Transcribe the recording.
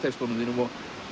rapptextunum þínum og